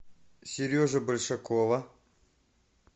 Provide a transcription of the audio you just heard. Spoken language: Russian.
сережа большакова